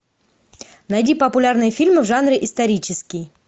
найди популярные фильмы в жанре исторический